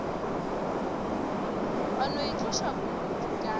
wa no itloša bodutu ka